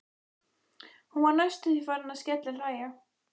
Hún var næstum því farin að skellihlæja.